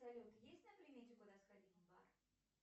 салют есть на примете куда сходить в бар